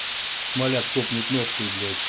смоляк топнет ножкой блять